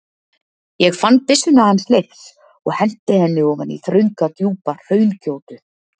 Ég fann byssuna hans Leifs og henti henni ofan í þrönga djúpa hraungjótu.